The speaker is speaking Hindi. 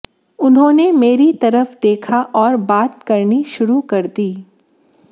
उन्होंने मेरी तरफ देखा और बात करनी शुरू कर दी